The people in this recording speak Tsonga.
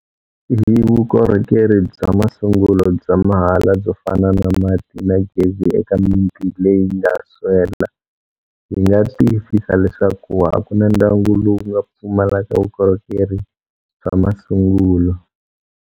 Hi vukorhokeri bya masungulo bya mahala byo fana na mati na gezi eka miti leyi nga swela, hi nga tiyisisa leswaku a ku na ndyangu lowu nga pfumalaka vukorhokeri bya masungulo.